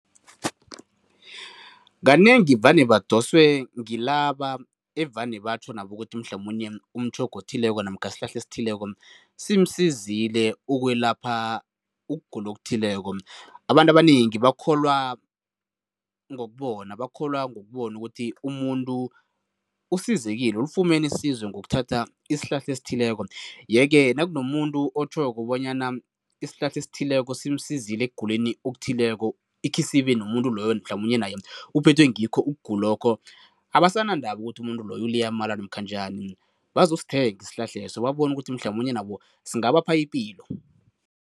Kanengi vane badoswe ngilaba evane batjho nabo ukuthi mhlamunye umtjhoga othileko namkha isihlahla esithileko simsizile ukwelapha ukugula okuthileko. Abantu abanengi bakholwa ngokubona, bakholwa ngokubona ukuthi umuntu usizekile, ulifumene isizo ngokuthatha isihlahla esithileko, yeke nakunomuntu otjhoko bonyana isihlahla esithileko simsizile ekuguleni okuthileko ikhisibe nomuntu loyo mhlamunye naye uphethwe ngikho ukugula lokho, abasanandaba ukuthi umuntu loyo liyamala namkha njani. Bazosithenga isihlahleso, babone ukuthi mhlamunye nabo singabapha ipilo.